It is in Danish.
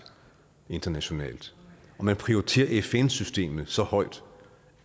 internationalt og at man prioriterer fn systemet så højt